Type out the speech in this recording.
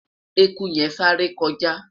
ẹkú yen sááre kọjá